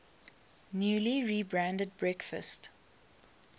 newly rebranded breakfast